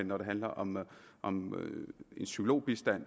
når det handler om om psykologbistand